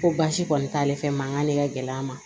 Ko baasi kɔni t'ale fɛ ma k'ale ka gɛlɛya ma